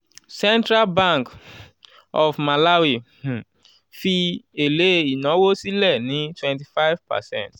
central bank um of malawi um fi èlé ìnáwó sílẹ̀ ní twenty five percent